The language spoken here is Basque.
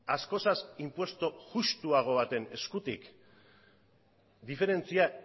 askozaz inpuesto justuago baten eskutik diferentzia